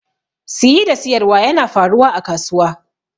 Siyi da siyarwa yana faruwa a kasuwa.